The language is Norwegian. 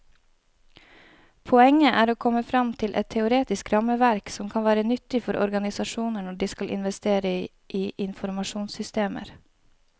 Poenget er å komme frem til et teoretisk rammeverk som kan være nyttig for organisasjoner når de skal investere i informasjonssystemer.